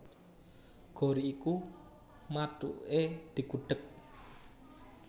Gori iku mathuke digudhèg